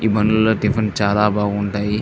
ఈ బండిలో టిఫిన్ చాలా బాగుంటాయి.